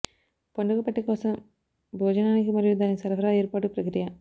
పండుగ పట్టిక కోసం భోజనానికి మరియు దాని సరఫరా ఏర్పాటు ప్రక్రియ